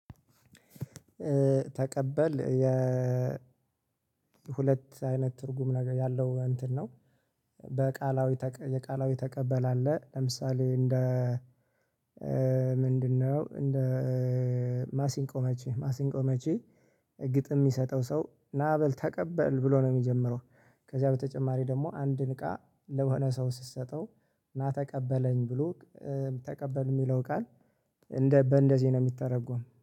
ተቀበል የ ሁለት አይነት ትርጉም ነገር ያለው እንትን ነው። በቃላዊ የቃላዊ ተቀበል አለ ለምሳሌ እንደ ምንድነው? እንደ ማሲንቆ መቺ ማሲንቆ መቺ። ግጥም የሚሰጠው ሰው ና በል ተቀበል ብሎ ነው የሚጀምረው። ከዚያ በተጨማሪ ደግሞ አንድን እቃ ለሆነ ሰው ስትሰጠው ና ተቀበለኝ ብሎ ተቀበል የሚለው ቃል እንደ በእንደዚህ ነው የሚተረጎም።